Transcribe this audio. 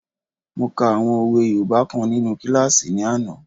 Mo ka àwọn òwe yoòbá kan nínu kílásì ní àná